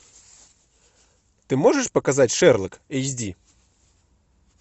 ты можешь показать шерлок эйч ди